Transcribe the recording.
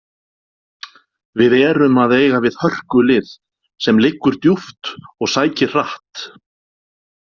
Við erum að eiga við hörkulið sem liggur djúpt og sækir hratt.